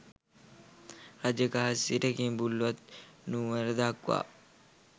රජගහ සිට කිඹුල්වත් නුවර දක්වා